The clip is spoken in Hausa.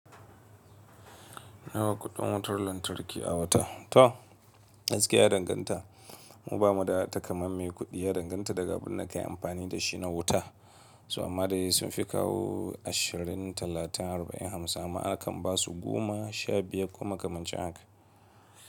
Nawa kuɗin wutar lantarki a wata? To, gaskiya ya danganta. Mu ba mu da takamaima kuɗi. Ya danganta daga abin da ka yi amfani da shi na wuta. To ammaday sun fi kawo ashirin, talatin, arba'in, hamsin, amma a kan ba su goma, sha biyar koma kamancin haka.